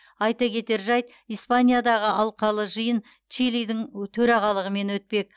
айта кетер жайт испаниядағы алқалы жиын чилидің төрағалығымен өтпек